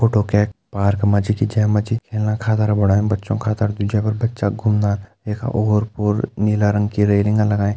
Photo कैक park मा च खिचयीं जैमा छि खेलना खादर बणायूं बच्चो खातड़ जैफर बच्चा घुमदा इख ओर-पोर नीला रंग की रेलिंग अन लगायीं।